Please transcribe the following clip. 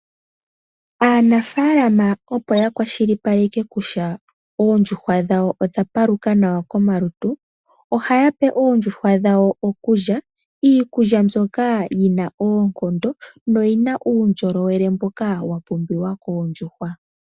Aanafaalama opo yakwashilipaleka kutya oondjuhwa dhawo odha paluka nawa komalutu, ohaya pe oondjuhwa dhawo okulya, iikulya mbyoka yina oonkondo noyina uundjolowele mboka wapumbiwa koondjuhwa.